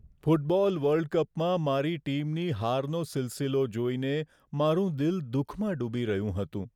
Football world કપમાં મારી ટીમની હારનો સિલસિલો જોઈને મારું દિલ દુઃખમાં ડૂબી રહ્યું હતું.